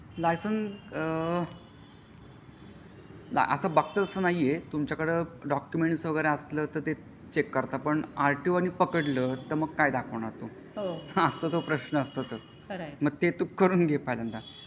Licence असा बघतात असा नाहीये तुमच्याकडे डॉक्युमेंट्स वगैरे असलं तर ते चेक करता पण आरटीओ नि पकडलं तर मग काय दाखवणार प्रश्न असतो तो म्हणून तू करून घे पहिल्यांदा.